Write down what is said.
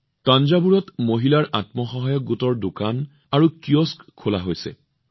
থাঞ্জাভুৰত মহিলাৰ আত্মসহায়ক গোটৰ দোকান আৰু কিয়স্কো মুকলি কৰা হৈছে